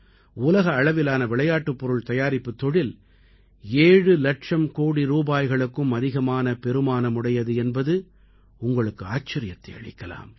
உலக அளவிலான விளையாட்டுப் பொருள் தயாரிப்புத் தொழில் ஏழு இலட்சம் கோடி ரூபாய்களுக்கும் அதிகமான பெறுமானமுடையது என்பது உங்களுக்கு ஆச்சரியத்தை அளிக்கலாம்